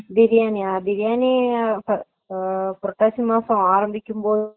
பிரியாணிய பிரியாணி அஹ புரட்டாசி மாசம் ஆரம்பிக்கும் போது